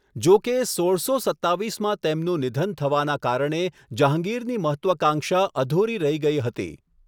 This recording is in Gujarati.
જો કે, સોળસો સત્તાવીસમાં તેમનું નિધન થવાના કારણે જહાંગીરની મહત્ત્વાકાંક્ષા અધુરી રહી ગઈ હતી.